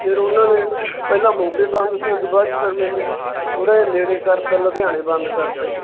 ਫਿਰ ਉਹਨਾਂ ਨੇ ਪਹਿਲੇ ਮੋਗੇ Done ਸੀ ਫਿਰ ਉਸ ਤੋਂ ਬਾਅਦ ਚ ਮੈਨੂੰ ਥੋੜਾ ਜਾ ਨੇੜੇ ਕਰਤਾ ਲੁਧਿਆਣਾ Done ਕਰਤਾ ਜੀ।